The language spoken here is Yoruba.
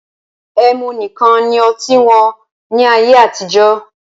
Ẹmu nìkan ni oti wọn ní ayé àtijọ́